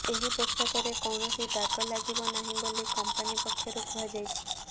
ଏହି ପୋଷାକରେ କୌଣସି ଦାଗ ଲାଗିବ ନାହିଁ ବୋଲି କମ୍ପାନୀ ପକ୍ଷରୁ କୁହାଯାଇଛି